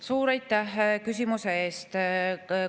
Suur aitäh küsimuse eest!